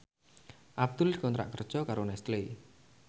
Abdul dikontrak kerja karo Nestle